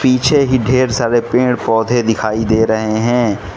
पीछे ही ढेर सारे पेड़ पौधे दिखाई दे रहे हैं।